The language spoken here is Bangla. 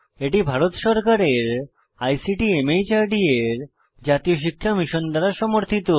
এটি ভারত সরকারের আইসিটি মাহর্দ এর জাতীয় সাক্ষরতা মিশন দ্বারা সমর্থিত